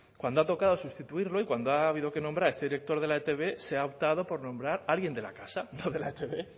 cuando ha tocado sustituirlo y cuando ha habido que nombrar a este director de la etb se ha optado por nombrar a alguien de la casa no de la etb